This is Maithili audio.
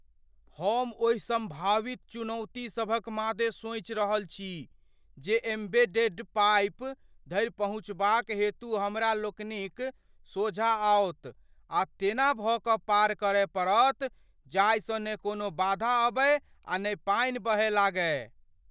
हम ओहि सम्भावित चुनौती सभक मादे सोचि रहल छी जे एम्बेडेड पाइप धरि पहुँचबाक हेतु हमरा लोकनिक सोझाँ आओत आ तेना भऽ कऽ पार करय पड़त जाहिसँ ने कोनो बाधा अबै आ ने पानि बहय लागय।